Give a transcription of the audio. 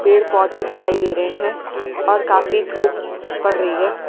पेड़-पौधे दिखाई दे रहे हैं और काफी धूप पड़ रही है।